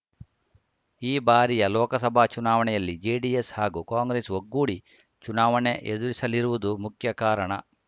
ಈ ಬಾರಿಯ ಲೋಕಸಭಾ ಚುನಾವಣೆಯಲ್ಲಿ ಜೆಡಿಎಸ್‌ ಹಾಗೂ ಕಾಂಗ್ರೆಸ್‌ ಒಗ್ಗೂಡಿ ಚುನಾವಣೆ ಎದುರಿಸಲಿರುವುದು ಮುಖ್ಯ ಕಾರಣ